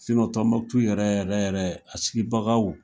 Tombouctou yɛrɛ yɛrɛ yɛrɛ a sigibagaw